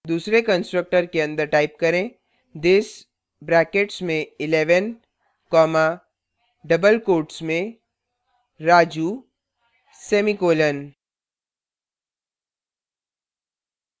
दूसरे constructor के अंदर type करें this brackets में 11 comma double quotes में raju semicolon